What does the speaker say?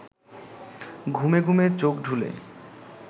ঘুমে ঘুমে চোখ ঢুলে